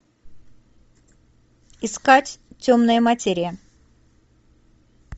искать темная материя